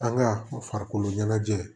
An ka farikoloɲɛnajɛ